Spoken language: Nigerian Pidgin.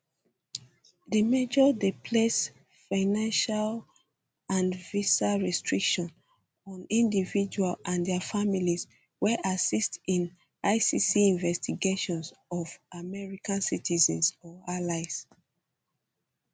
di measure dey place financial um and visa restrictions on individuals and dia families wey assist in icc investigations of um american citizens or allies